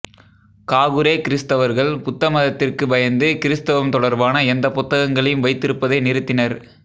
Kakure கிறிஸ்தவர்கள் புத்த மதத்திற்கு பயந்து கிறிஸ்தவம் தொடர்பான எந்த புத்தகங்களையும் வைத்திருப்பதை நிறுத்தினர்